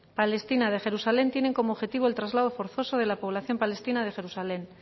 palestina de jerusalén tienen como objetico el traslado forzoso de población palestina de jerusalén